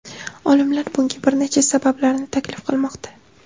Olimlar bunga bir nechta sabablarni taklif qilmoqda.